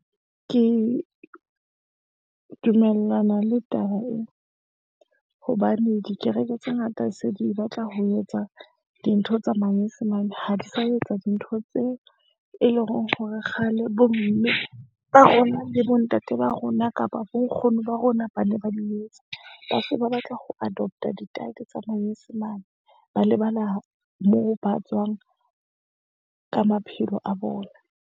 Ke dumellana le taba e hobane dikereke tse ngata se di batla ho etsa dintho tsa manyesemane. Ha di sa etsa dintho tse e leng hore, kgale bo mme ba rona le bo ntate ba rona kapa bo nkgono ba rona ba ne ba di etsa. Ba se ba batla ho adopt-a dityle tsa manyesemane. Ba lebala moo ba tswang ka maphelo a bona.